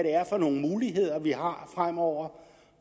er for nogle muligheder vi har fremover